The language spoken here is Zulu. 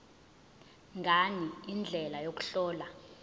ngani indlela yokuhlola